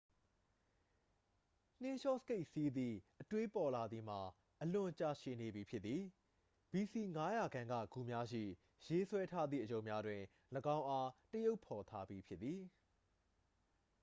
နှင်းလျောစကိတ်စီးသည့် အတွေးပေါ်လာသည်မှာ အလွန်ကြာရှည်နေပြီဖြစ်သည် ဘီစီ 500 ခန့်က ဂူများရှိ ရေးဆွဲထားသည့်အရုပ်များတွင် ၎င်းအား သရုပ်ဖော်ထားပြီး ဖြစ်သည်